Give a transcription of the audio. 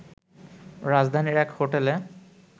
রাজধানীর এক হোটেলে